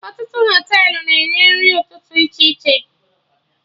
Ọtụtụ Họtelụ na-enye nri ụtụtụ dị iche iche